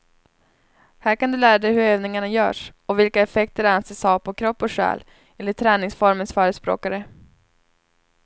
Här kan du lära dig hur övningarna görs och vilka effekter de anses ha på kropp och själ, enligt träningsformens förespråkare.